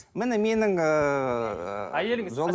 міне менің ыыы әйеліңіз